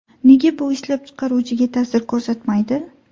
Nega bu ishlab chiqaruvchiga ta’sir ko‘rsatmaydi?